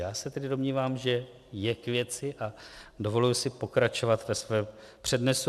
Já se tedy domnívám, že je k věci, a dovoluji si pokračovat ve svém přednesu.